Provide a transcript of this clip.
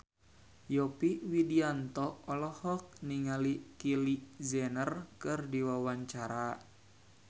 Yovie Widianto olohok ningali Kylie Jenner keur diwawancara